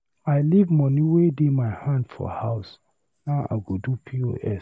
I leave money wey dey my hand for house, now I go do POS.